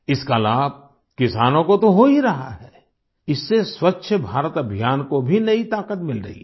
इसका लाभ किसानों को तो हो ही रहा है इससे स्वच्छ भारत अभियान को भी नई ताकत मिल रही है